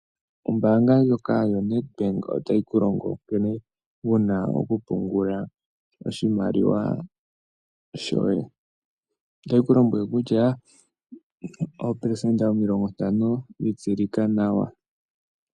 Ombaanga ndjoka yo NedBank otayi ku longo nkene wuna okupungula oshimaliwa shoye. Otayi ku lombwele kutya oopelesenda omilongo ntano dhi tsilika nawa.